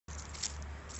афина включи ичи шаман